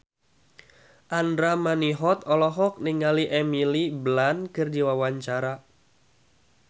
Andra Manihot olohok ningali Emily Blunt keur diwawancara